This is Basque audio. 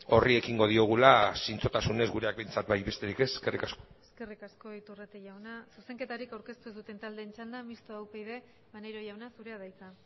horri ekingo diogula zintzotasunez gureak behintzat bai besterik ez eskerrik asko eskerrik asko iturrate jauna zuzenketarik aurkeztu ez duten taldeen txanda mistoa upyd maneiro jauna zurea da hitza